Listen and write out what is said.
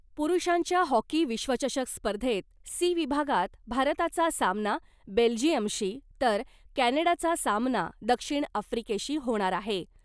पूरूषांच्या hockey विश्वचषक स्पर्धेत ' C ' विभागात भारताचा सामना बेल्जीयमशी , तर कॅनडाचा सामना दक्षिण आफ्रीकेशी होणार आहे .